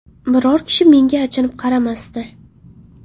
Biror kishi menga achinib qaramasdi.